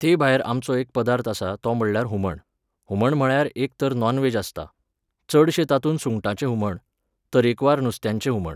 ते भायर आमचो एक पदार्थ आसा तो म्हणल्यार हुमण. हुमण म्हळ्यार एक तर नॉन व्हॅज आसता. चडशें तातूंत सुंगटांचें हुमण, तरेकवार नुस्त्यांचें हुमण